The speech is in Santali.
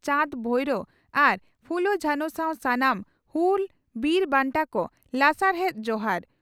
ᱪᱟᱸᱫᱽᱼᱵᱷᱟᱭᱨᱚ ᱟᱨ ᱯᱷᱩᱞᱳᱼᱡᱷᱟᱱᱚ ᱥᱟᱶ ᱥᱟᱱᱟᱢ ᱦᱩᱞ ᱵᱤᱨ ᱵᱟᱱᱴᱟ ᱠᱚ ᱞᱟᱥᱟᱲᱦᱮᱛ ᱡᱚᱦᱟᱟᱨ ᱾᱾